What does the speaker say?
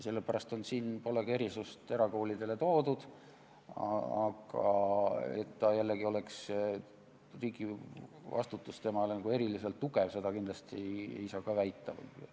Sellepärast pole siin ka erakoolide erisust ära toodud, aga et riigi vastutus seal oleks nagu eriliselt tugev, seda kindlasti ei saa jällegi väita.